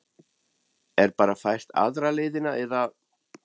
Er bara fært aðra leiðina eða?